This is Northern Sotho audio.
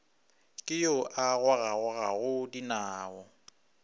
ke yo a gogagogago dinao